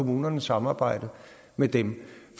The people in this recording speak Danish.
kommunernes samarbejde med dem